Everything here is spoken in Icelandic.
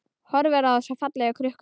Horfir á þessa fallegu krukku.